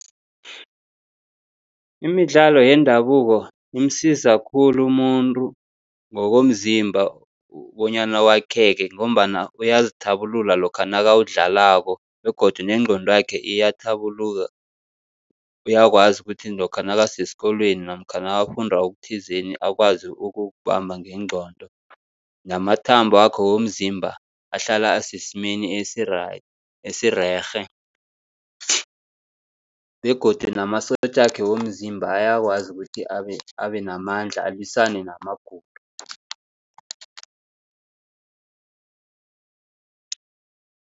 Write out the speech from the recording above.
Imidlalo yendabuko imsiza khulu umuntu ngokomzimba bonyana wakheke, ngombana uyazithabulula lokha nakawudlalako begodu nengqondwakhe iyathabuluka. Uyakwazi ukuthi lokha nakasesikolweni namkha nakafunda okuthizeni akwazi ukukubamba ngengqondo. Namathambakhe womzimba ahlala asesimeni esi-right, esirerhe begodu namasotjakhe womzimba ayakwazi ukuthi abenamandla alwisane namagulo.